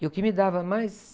E o que me dava mais...